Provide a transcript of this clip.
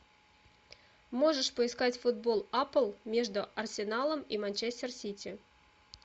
можешь поискать футбол апл между арсеналом и манчестер сити